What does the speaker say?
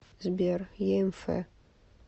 сбер еэмфэ